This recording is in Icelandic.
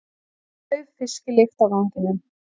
Dauf fisklykt á ganginum.